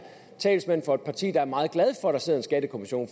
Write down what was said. talsmand for et parti der er meget glad for at der sidder en skattekommission